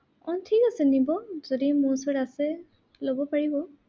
উম ঠিক আছে নিব, যদি মোৰ ওচৰত আছে, লব পাৰিব।